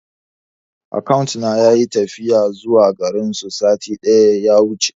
Akawuna yayi tafiya zuwa garinsu satin da ya wuce.